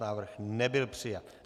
Návrh nebyl přijat.